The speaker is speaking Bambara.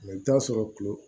i bɛ taa sɔrɔ kulo